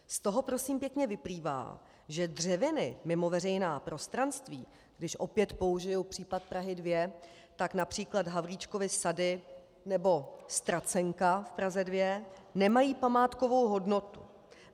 Z toho prosím pěkně vyplývá, že dřeviny mimo veřejná prostranství, když opět použiji případ Prahy 2, tak například Havlíčkovy sady nebo Ztracenka v Praze 2, nemají památkovou hodnotu.